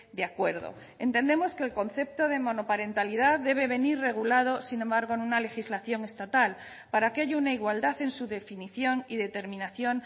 de acuerdo entendemos que el concepto de monoparentalidad debe venir regulado sin embargo en una legislación estatal para que haya una igualdad en su definición y determinación